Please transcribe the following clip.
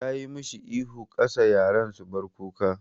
Tayi mashi ihu 'Ka sa yaran su bar kuka'!